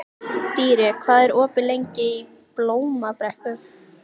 Dýri, hvað er opið lengi í Blómabrekku?